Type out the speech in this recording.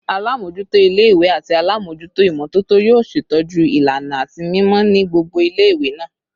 Alamojuto ile-iwe ati alamojuto imototo yoo ṣetọju ilana ati mimọ ni gbogbo ile-iwe naa